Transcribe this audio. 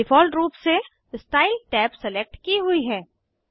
default रूप से style tab select की हुई है